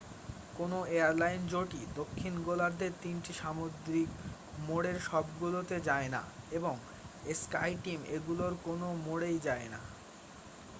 কোন এয়ারলাইন জোটই দক্ষিণ গোলার্ধের তিনটি সামুদ্রিক মোড়ের সবগুলোতে যায় না এবং স্কাইটিম এগুলোর কোন মোড়েই যায় না।